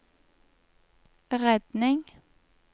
redning